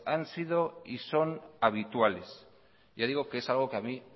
han sido y son habituales ya digo que es algo que a mí